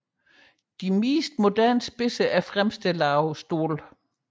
De fleste moderne spidser er fremstillet af stål